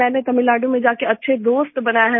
मैंने तमिलनाडु में जाके अच्छे दोस्त बनाए हैं